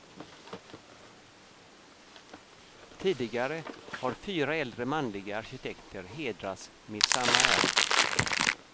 Tidigare har fyra äldre manliga arkitekter hedrats med samma ära.